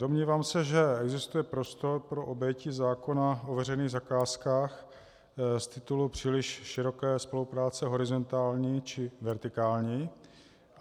Domnívám se, že existuje prostor pro obejití zákona o veřejných zakázkách z titulu příliš široké spolupráce horizontální či vertikální.